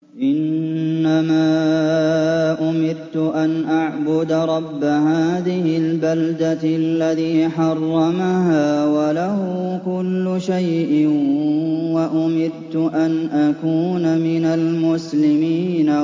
إِنَّمَا أُمِرْتُ أَنْ أَعْبُدَ رَبَّ هَٰذِهِ الْبَلْدَةِ الَّذِي حَرَّمَهَا وَلَهُ كُلُّ شَيْءٍ ۖ وَأُمِرْتُ أَنْ أَكُونَ مِنَ الْمُسْلِمِينَ